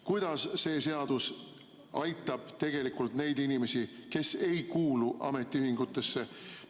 Kuidas see seadus aitab tegelikult neid inimesi, kes ei kuulu ametiühingusse?